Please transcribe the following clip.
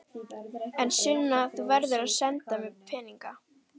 En Sunna, þú verður að senda mér peninga.